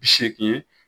Bi seegin